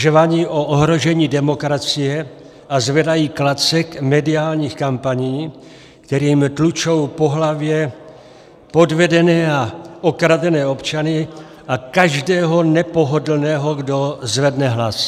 Žvaní o ohrožení demokracie a zvedají klacek mediálních kampaní, kterým tlučou po hlavě podvedené a okradené občany a každého nepohodlného, kdo zvedne hlas.